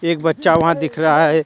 एक बच्चा वहां दिख रहा है।